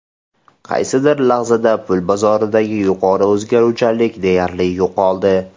Qaysidir lahzada pul bozoridagi yuqori o‘zgaruvchanlik deyarli yo‘qoldi.